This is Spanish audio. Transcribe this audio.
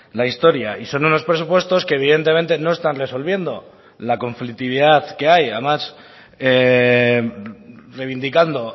la historia y son unos presupuestos que evidentemente no están resolviendo la conflictividad que hay además reivindicando